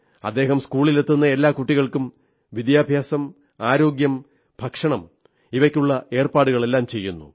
ഇദ്ദേഹം സ്കൂളിലെത്തുന്ന എല്ലാ കുട്ടികൾക്കും വിദ്യാഭ്യാസം ആരോഗ്യം ഭക്ഷണം ഇവയ്ക്കുള്ള ഏർപ്പാടുകളെല്ലാം ചെയ്യുന്നു